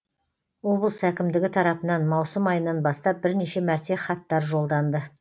облыс әкімдігі тарапынан маусым айынан бастап бірнеше мәрте хаттар жолданды